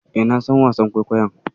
E, na san wasan kwaikwayon.